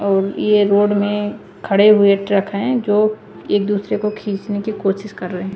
और ये रोड में खड़े हुए ट्रक है जो एक दुसरे को खीचने की कोशिश कर रहे है।